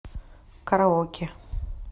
караоке